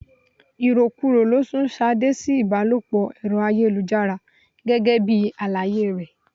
Irokuro ló sun Ṣadé sí ibalopo Ẹ̀rọ ayélujára gẹ́gẹ́ bí àlàyé rẹ.